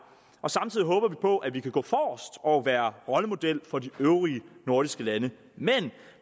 og samtidig håber vi på at vi kan gå forrest og være rollemodel for de øvrige nordiske lande men